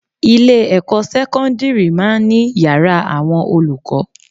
Ilé-ẹ̀kọ́ sẹ́kọ́ńdìrì máa ń ní yàrá àwọn olùkọ́